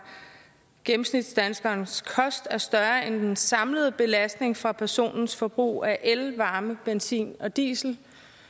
gennemsnitsdanskerens kost er større end den samlede belastning fra personens forbrug af el varme benzin og diesel